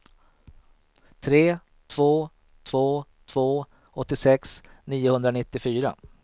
tre två två två åttiosex niohundranittiofyra